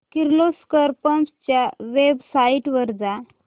Kirloskar pumps च्या website वर जा